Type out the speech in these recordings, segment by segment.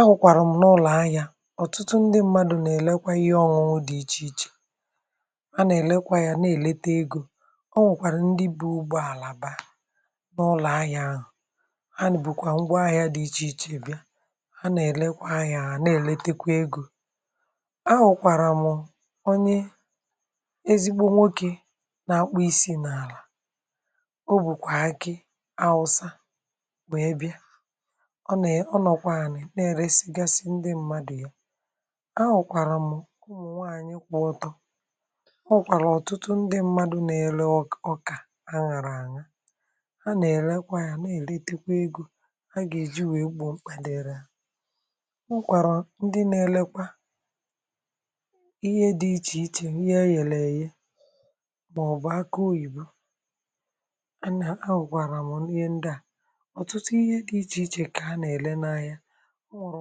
Ahụ̀kwàrà m n’ụlọ̀ ahịa, ọ̀tụtụ ndị mmadụ̀ nà-èlekwa ihe ọṅụṅụ dị iche iche, ànà-èlekwa ya, nà-èlete egȯ. Ọ̀nwe kwàrà ndị bụ̀ ụgbọ àlà bịa n’ụlọ̀ ahịa ahụ̀; ha bùkwà ngwa ahịa dị iche iche bịa, ha nà-èlekwa ahịa à, nà-èlete kwa egȯ. Ahụ̀kwàrà m onye ezigbo nwokē nà-akpụ isi n’àlà; o bùkwà akị awụsa wee bịa. Ọ̀ na, ọ̀ nọ̀ kwa ani, nà-èresigasị ndị mmadụ̀ ya. Ahụ̀kwàrà m ụmụ nwànyị kwo ọtọ; ọnwe kwàrà ọ̀tụtụ ndị mmadụ̀ nà-ele ọkà à ṅara ànya, ha nà-èlekwa ya, nà-èletekwa egȯ ha gà-èji wèe gbò mkpà diri ha. Ọnwe kwàrà ndị nà-elekwa ihe dị iche iche, ihe eghere èghe mà ọ̀ bụ̀ akụ oyìbo. À nà, àhụ̀kwàrà m ihe ndị à, ọ̀tụtụ ihe dị iche iche kà a nà-èle n’ahịa. Ọnwere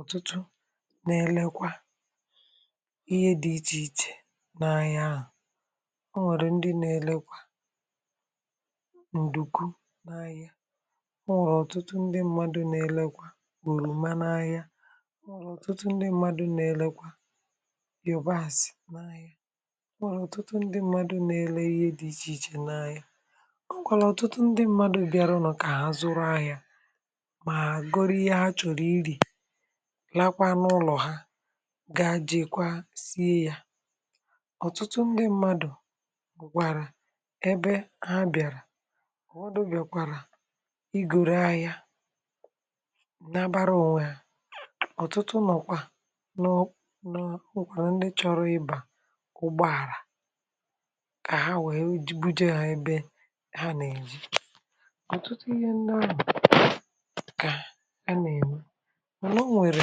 ọ̀tụtụ nà-elekwa ihe dị iche iche n’ahịa ahụ̀; ọ nwèrè ndị nà-elekwa ǹdùku n’ahịa, ọ nwèrè ọ̀tụtụ ndị mmadụ̀ nà-elekwa ọlọ̀ma n’ahịa, ọ nwèrè ọ̀tụtụ ndị mmadụ̀ nà-elekwa Yòbasị n’ahịa, ọ nwèrè ọ̀tụtụ ndị mmadụ̀ nà-ele ihe dị iche iche n’ahịa, ọ nwèkwàrà ọ̀tụtụ ndị mmadụ̀ bịa runu kà ha zụrụ ahịa ma gọrọ ihe ha chọrọ ịri, laa kwa n’ụlọ ha ga jeekwa sie ya. Ọ̀tụtụ ndị mmadụ̀ gụ̀kwàrà ebe ha bị̀àrà; ụfọdụ bịàkwàrà igọrọ ahịa nabara ònwe ha. Ọ̀tụtụ nọkwa nọọ nọọ n’ọkpọ, ndị chọ̀rọ̀ ịbà ụgbọ àlà kà ha wèe buje ha ebe ha n’èje. Ọ̀tụtụ ihe ndị ahụ̀ kà ha n’ème, mana ọ̀ nwere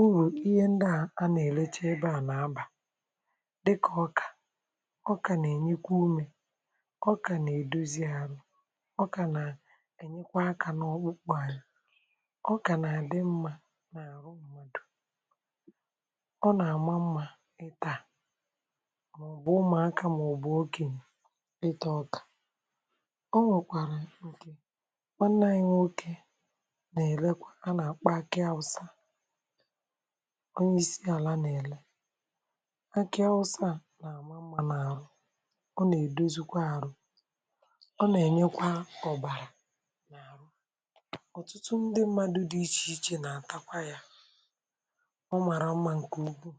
ụrụ ihe ndị a nà-elecha ebe à nà-abà dịkà ọkà. Ọkà nà-enyekwa umē, ọkà nà-èdozi àrụ, ọkà nà-ènyekwa akȧ n’ọkpụkpọ anyị, ọkà nà-àdị mmȧ n’àrụ mmàdụ̀, ọ nà-àma mmȧ ịtà, mà ọ̀bụ̀ ụmụ̀akȧ mà ọ̀bụ̀ okènye itȧ ọkà. Ọ nwèkwàrà ǹkè nwanne anyị nwoke nà-elekwa, à nà-àkpọ̀ akị awụsa; ọ̀nye isi àlà nà-èle akị awụsa à nà-àma mma n’àrụ, ọ nà-èdozùkwa àrụ, ọ nà-ènyekwa ọ̀bàrà n’arụ. Ọ̀tụtụ ndị mmadụ̀ dị iche iche nà-àtakwa yȧ; ọ màrà mma ǹkè ukwu.